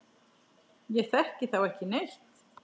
Ég þekki þá ekki neitt.